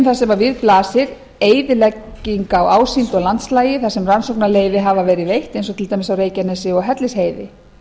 þar sem við blasir eyðilegging á ásýnd og landslagi þar sem rannsóknarleyfi hafa verið veitt eins og til dæmis á reykjanesi og hellisheiði